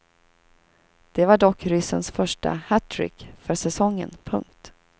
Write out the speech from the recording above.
Det var dock ryssens första hattrick för säsongen. punkt